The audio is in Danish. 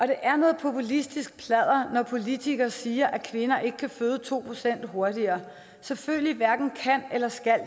det er noget populistisk pladder når politikere siger at kvinder ikke kan føde to procent hurtigere selvfølgelig hverken kan eller skal